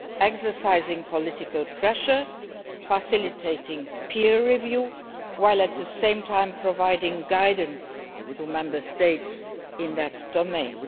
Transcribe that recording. exercising political pressure and facilitating peer review, while at the same time providing guidance to Member States in that domain.